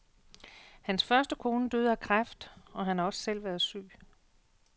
Hans første kone døde af kræft, og han har også selv været syg.